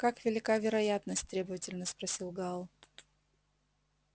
как велика вероятность требовательно спросил гаал